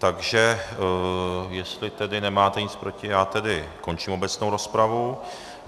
Takže jestli tedy nemáte nic proti, já tedy končím obecnou rozpravu.